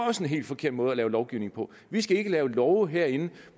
også en helt forkert måde at lave lovgivning på vi skal ikke lave love herinde